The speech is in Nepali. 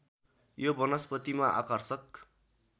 यो वनस्पतिमा आकर्षक